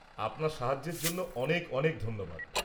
আপনার সাহায্যের জন্য অনেক অনেক ধন্যবাদ।